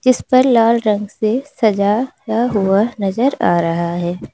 इस पर लाल रंग से सजाया हुआ नजर आ रहा है।